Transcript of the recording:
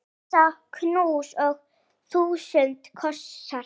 Risa knús og þúsund kossar.